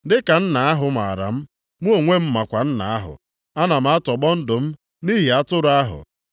Dị ka Nna ahụ maara m, mụ onwe m makwa Nna ahụ. Ana m atọgbọ ndụ m nʼihi atụrụ ahụ.